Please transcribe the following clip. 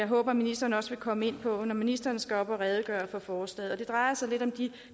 håber ministeren også vil komme ind på når ministeren skal op og redegøre for forslaget det drejer sig lidt om de